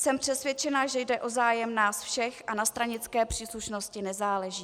Jsem přesvědčena, že jde o zájem nás všech a na stranické příslušnosti nezáleží.